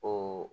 O